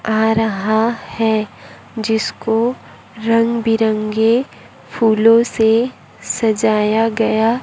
आ रहा है जिसको रंग बिरंगे फूलों से सजाया गया--